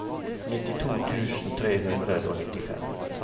nittito tusen tre hundre og nittifem